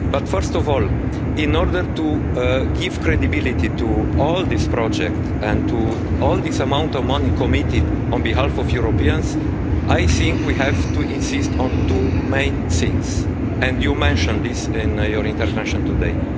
First of all, in order to give credibility to all this project and to all this amount of money committed on behalf of Europeans, I think we have to insist on two main things, and you mentioned this in your intervention today.